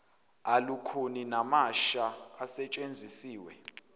alukhuni namasha asetshenzisiwe